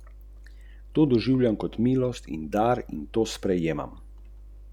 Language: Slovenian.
Šeligov sin Aleš je predstavil poslanstvo fundacije Rudija Šeliga, ki bo delovala na področju kulture in umetnosti.